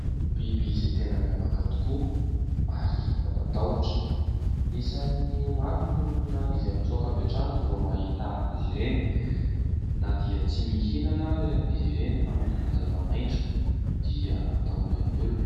Biby izay tena miavaka tokoa ary mampatahotra. Isan'ny maro ny olona izay mitsoaka avy hatrany vao mahita azy ireny na dia tsy mihinana ary izy ireny fa mihinana zava-maitso dia hatahoran'ny olona.